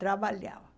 Trabalhava.